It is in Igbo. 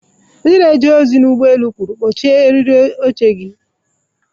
Onye na-eje ozi ụgbọ elu kwuru, "kpọchie eriri oche gị".